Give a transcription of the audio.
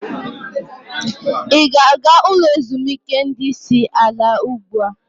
Ị na-aga ulo ezimuike ndi isi ala ugbu a?